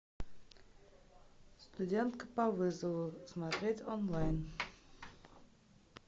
студентка по вызову смотреть онлайн